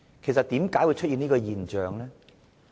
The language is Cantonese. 為何會出現這種現象呢？